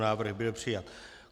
Návrh byl přijat.